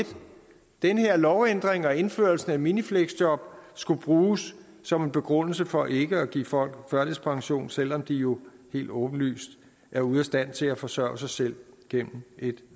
den her lovændring og indførelsen af minifleksjob skulle bruges som en begrundelse for ikke at give folk førtidspension selv om de jo helt åbenlyst er ude af stand til at forsørge sig selv gennem et